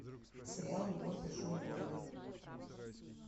сериал любовь в большом городе